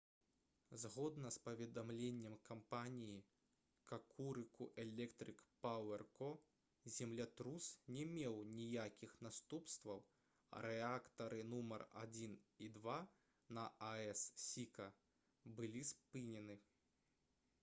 згодна з паведамленнем кампаніі «какурыку электрык пауэр ко» землятрус не меў ніякіх наступстваў а рэактары нумар 1 і 2 на аэс «сіка» былі спынены